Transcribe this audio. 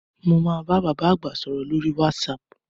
Mo máa bá bàbá àgbà sọ̀rọ̀ lórí "WhatsApp"